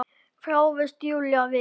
þráast Júlía við.